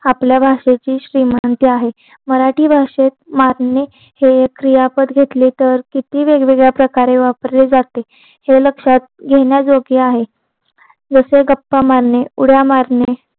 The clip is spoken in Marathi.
आपल्या भाषेची श्रीमंती आहे मराठी भाषेत मारणे हे एक क्रियापद घेतली तर किती वेगवेगळ्या प्रकारे वापरले जाते हे लक्षात घेण्याजोगे आहे जसे गप्पा मारणे उड्या मारणे